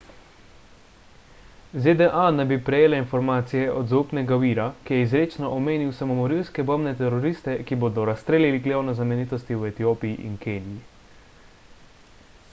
zda naj bi prejele informacije od zaupnega vira ki je izrecno omenil samomorilske bombne teroriste ki bodo razstrelili glavne znamenitosti v etiopiji in keniji